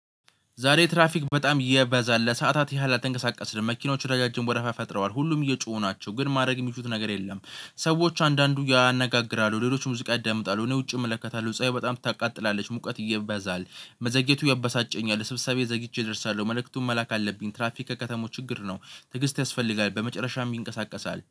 ዛሬ ትራፊክ በጣም እየበዛል ለሰአታት ያህል አልተንቀሳቀስንም መኪኖቹ ረጃጅም ወደወረፋ ፈጥረዋል ሁሉም እየጮሁ ናቸው ግን ማድረግ የሚችሉት ነገር የለም። ሰዎች አንዳንዱ ያነጋግራሉ ሌሎች ሙዚቃ ያዳምጣሉ እኔ ውጪ እመለከታለሁ ፀሀይ በጣም ታቃጥላለች ሙቀት እየበዛል። መዘግየቱ ያበሳጨኛል ስብሰባዬ ዘግይቼ እደርሳለሁ መልእክቱን መላክ አለብኝ። ትራፊክ የከተማው ችግር ነው። ትዕግስት ያስፈልጋል በመጨረሻም ይንቀሳቀሳል